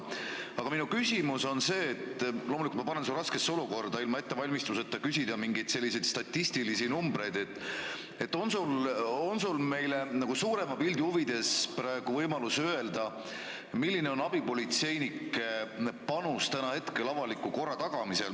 Aga minu küsimus on see – loomulikult panen ma su raskesse olukorda, sa ei ole ette valmistanud, et öelda mingeid selliseid statistilisi numbreid –, on sul meile suurema pildi huvides praegu võimalik öelda, milline on abipolitseinike panus praegu avaliku korra tagamisel.